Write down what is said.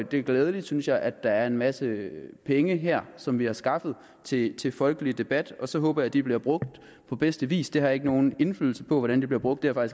det er glædeligt synes jeg at der er en masse penge her som vi har skaffet til til folkelig debat og så håber jeg de bliver brugt på bedste vis jeg har ikke nogen indflydelse på hvordan de bliver brugt og